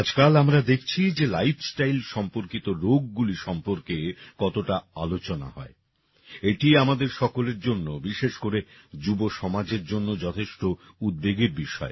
আজকাল আমরা দেখছি যে লাইফস্টাইল সম্পর্কিত রোগগুলি সম্পর্কে কতটা আলোচনা হয় এটি আমাদের সকলের জন্য বিশেষ করে যুবসমাজের জন্য যথেষ্ট উদ্বেগের বিষয়